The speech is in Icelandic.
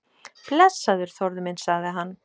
Blessaður, Þórður minn sagði hann.